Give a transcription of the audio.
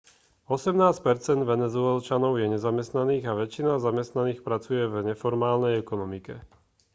osemnásť percent venezuelčanov je nezamestnaných a väčšina zamestnaných pracuje v neformálnej ekonomike